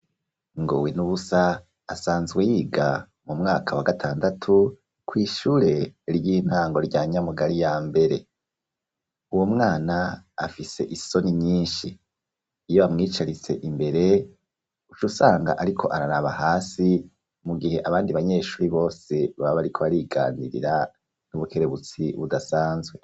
Ngowenubusa asanzwe yiga mu mwaka wa gatandatu kwishure ry'intango rya Nyamugari ya mbere, uwo mwana afise isoni nyinshi iyo amwicaritse imbere ucusanga ariko araraba hasi mu gihe abandi banyeshuri bose baba bariko ariganirira n'ubukerebutsi budasanzwe.